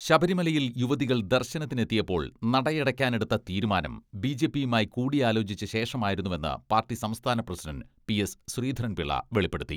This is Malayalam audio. ശബരിമലയിൽ യുവതികൾ ദർശനത്തിനെത്തിയപ്പോൾ നടയടക്കാനെടുത്ത തീരുമാനം ബി ജെ പിയുമായി കൂടിയാലോചിച്ച ശേഷമായിരുന്നുവെന്ന് പാർട്ടി സംസ്ഥാന പ്രസിഡണ്ട് പി എസ് ശ്രീധരൻപിളള വെളിപ്പെടുത്തി.